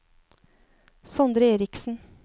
Sondre Erichsen